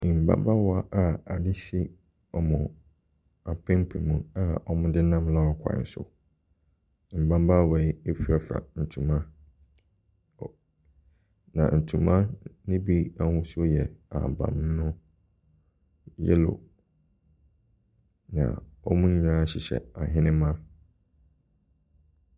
Mmabaawa a ade si wɔn apampam a wɔde nam lɔre kwan so. Mmabaawa yi firafira ntoma wɔ na ntoma no bi ahosuo yɛ ahaban mono, yellow, na wɔn nyinaa hyehyɛ ahenemma.